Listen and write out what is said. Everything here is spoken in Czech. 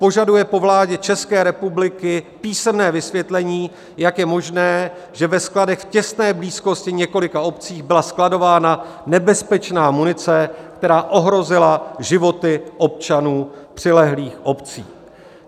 Požaduje po vládě České republiky písemné vysvětlení, jak je možné, že ve skladech v těsné blízkosti několika obcí byla skladována nebezpečná munice, která ohrozila životy občanů přilehlých obcí."